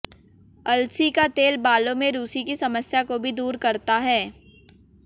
अलसी का तेल बालों में रूसी की समस्या को भी दूर करता है